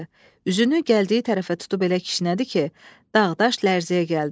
Üzünü gəldiyi tərəfə tutub elə kişnədi ki, dağ daş lərzəyə gəldi.